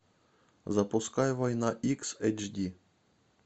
запускай война икс эйч ди